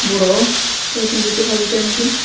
বড় কয়েকজন বইতে পারবইটার মাঝে।